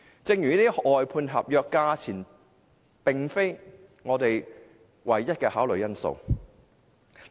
就這些外判合約而言，價錢並非我們唯一的考慮因素。